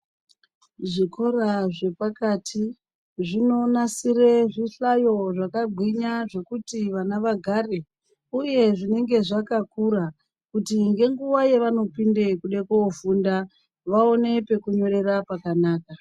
Zvikora zvepakati zvinonasire zvihlayo zvakagwinya zvekuti vana vagare, uye zvinenge zvakakura. Kuti ngenguva yavanopinde kude kofunda vaone pekunyorera pakanaka.